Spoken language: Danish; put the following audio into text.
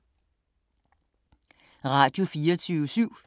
Radio24syv